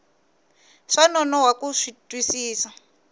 swa nonoha ku xi twisisa